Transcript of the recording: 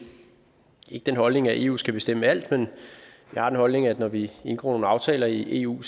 ikke den holdning at eu skal bestemme alt men vi har den holdning at når vi indgår nogle aftaler i eu